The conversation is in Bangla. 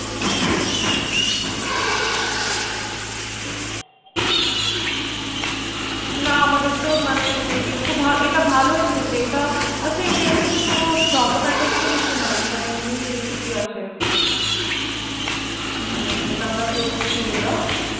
না আমাদের তো মানে এটা ভালো এমনিতেই এটা আচ্ছা এইটা এমনিতে কোন Problematic তো কিছু না মানে এমনি এয়ে আছে মানে যে তা আমরা করছি যেই টা